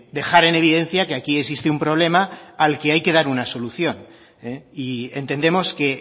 dejar en evidencia que aquí existe un problema al que hay que dar una solución y entendemos que